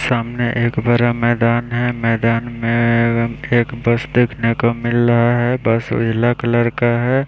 सामने एक बड़ा मैदान है मैदान में एवं एक बस देखने को मिल रहा है बस उजला कलर का है।